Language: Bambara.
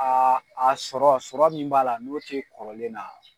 a sɔrɔ sɔrɔ min b'a la n'o tɛ kɔrɔlen na.